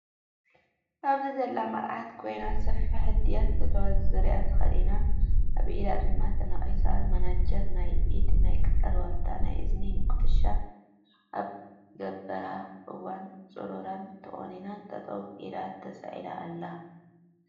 ኣብዚ ዘላ መርዓት ኮይና ሰፊሕ ህድያት ዘለዎ ዙርያ ተኸዲና ኣብ ኢዳ ድማ ተነቂሳ ማናጀር ናይ ኢድ ፣ናይ ክሳዳ ዋልታ፣ ናይ እዝኒ ጉትሻ ኣብ ገበራ እውን ፁሩራ ን ተቆኒናን ጠጠው ኢላ ተሳኢላ ኣለ።